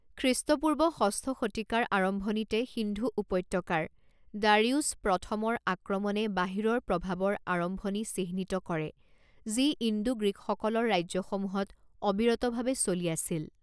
খ্ৰীষ্টপূৰ্ব ষষ্ঠ শতিকাৰ আৰম্ভণিতে সিন্ধু উপত্যকাৰ দাৰিউছ প্ৰথমৰ আক্ৰমণে বাহিৰৰ প্ৰভাৱৰ আৰম্ভণি চিহ্নিত কৰে যি ইণ্ডো গ্ৰীকসকলৰ ৰাজ্যসমূহত অবিৰতভাৱে চলি আছিল।